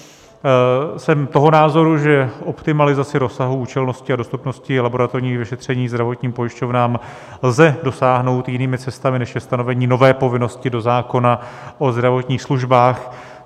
Jsem toho názoru, že optimalizace rozsahu, účelnosti a dostupnosti laboratorních vyšetření zdravotním pojišťovnám lze dosáhnout jinými cestami, než je stanovení nové povinnosti do zákona o zdravotních službách.